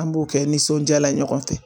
An b'o kɛ nisɔndiyala ɲɔgɔn fɛ